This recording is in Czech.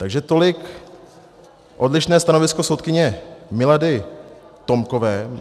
Takže tolik odlišné stanovisko soudkyně Milady Tomkové.